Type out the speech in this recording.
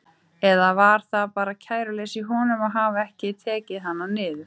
Eða var það bara kæruleysi í honum að hafa ekki tekið hana niður?